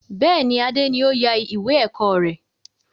Bẹ́ẹ̀ni, Adé ni o ya ìwé ẹ̀kọ́ rẹ.